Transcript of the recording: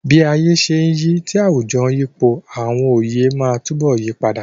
Bí ayé ṣe ń yí, tí àwùjọ sì ń yípo, àwọn oyè máa túbọ̀ yí padà.